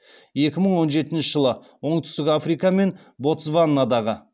екі мың он жетінші жылы оңтүстік африка мен ботсванадағы